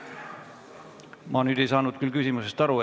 Ma ei saanud küsimusest aru.